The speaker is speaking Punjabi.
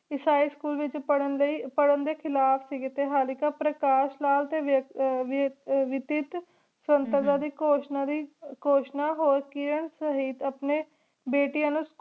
high school ਵਿਚ ਪ੍ਰਹ ਦੇ ਖਿਲਾਫ਼ ਸੀਗੀ ਟੀ ਹਲਕੀ ਪ੍ਰਕਾਸ਼ ਲਾਲ ਟੀ ਵਿਤਾਤ ਘੋਸ਼ਣਾ ਲਾਏ ਘੋਸ਼ਣਾ ਹੋਰ ਕਿਰਣ ਸਮੀਤ ਅਪਨੀ ਬੇਟਿਯਾਂ ਨੂ